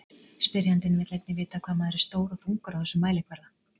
Spyrjandi vill einnig vita hvað maður er stór og þungur á þessum mælikvarða.